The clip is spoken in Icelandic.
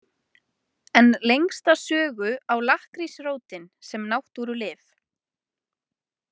En lengsta sögu á lakkrísrótin sem náttúrulyf.